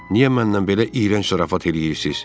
Niyə mənimlə belə iyrənc zarafat eləyirsiz?